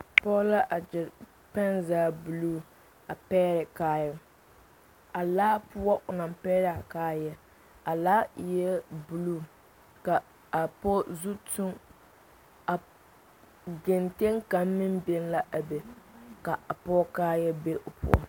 Pɔge la a gyere pɛnzage buluu pɛgrɛ kaaya a laa poɔ o naŋ pɛgrɛ a kaaya a laa eɛ buluu ka a pɔge zu tu a kentɛ kaŋ meŋ biŋ la a be ka a pɔge kaaya be o poɔ.